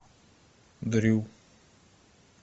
дрю